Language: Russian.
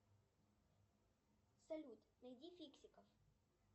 салют найди фиксиков